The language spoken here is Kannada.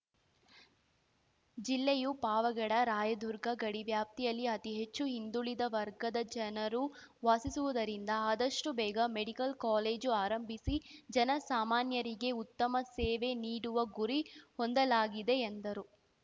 ಜಿಲ್ಲೆಯೂ ಪಾವಗಡ ರಾಯದುರ್ಗ ಗಡಿವ್ಯಾಪ್ತಿಯಲ್ಲಿ ಅತಿ ಹೆಚ್ಚು ಹಿಂದುಳಿದ ವರ್ಗದ ಜನರು ವಾಸಿಸುವುದರಿಂದ ಅದಷ್ಟುಬೇಗ ಮೆಡಿಕಲ್‌ ಕಾಲೇಜು ಆರಂಭಿಸಿ ಜನಸಾಮಾನ್ಯರಿಗೆ ಉತ್ತಮ ಸೇವೆ ನೀಡುವ ಗುರಿ ಹೊಂದಲಾಗಿದೆ ಎಂದರು